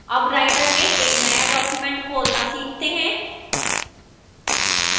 अब writer में एक now document खोलना सीखते हैं